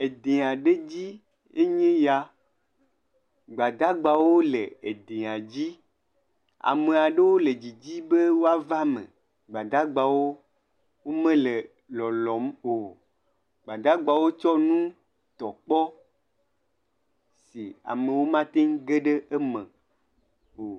Adẽ aɖe dzie nye ya. Gbadagbawo le edẽa dzi. Amea ɖewo le didime be woava eme. Gbadagbawo me le lɔlɔm o. Gbadagbawo tsɔ nu tɔ kpɔ be na amewo mateŋu aƒe ɖe eme o.